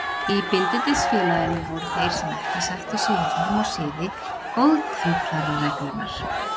Í Bindindisfélaginu voru þeir sem ekki sættu sig við form og siði Góðtemplarareglunnar.